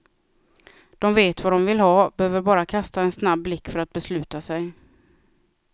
De vet vad de vill ha, behöver bara kasta en snabb blick för att besluta sig.